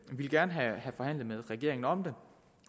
ville gerne have forhandlet med regeringen om det